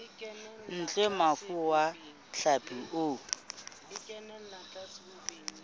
ntle mofuta wa hlapi o